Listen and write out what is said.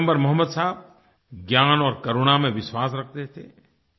पैगम्बर मोहम्मद साहब ज्ञान और करुणा में विश्वास रखते थे